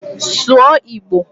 Sụọ Igbo!